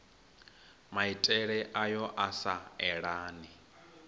maitele ayo a sa elani